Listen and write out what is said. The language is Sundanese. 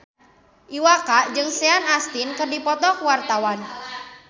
Iwa K jeung Sean Astin keur dipoto ku wartawan